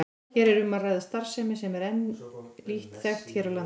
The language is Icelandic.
Hér er um að ræða starfsemi sem enn er lítt þekkt hér á landi.